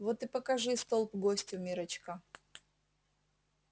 вот и покажи столб гостю миррочка